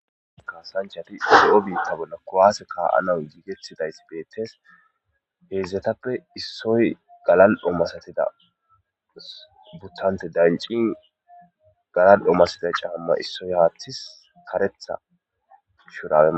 kaasanchati lo'o biitta bolla kuwaase kaa'ana giigettidays beettees heedzdzetappe issoy galal omasatida buttante dancin galal omasida caamma issoy haathi karetha shurae.